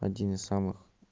один из самых